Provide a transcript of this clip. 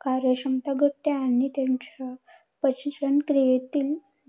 कार्यक्षमता घटते आणि त्यांच्या पचनक्रियेत